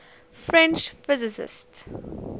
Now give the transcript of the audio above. french physicists